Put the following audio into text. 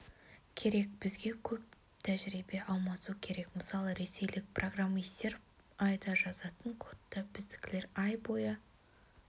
керек бізге көп тәжірибе алмасу керек мысалы ресейлік программистер айда жазатын кодты біздікілер ай бойы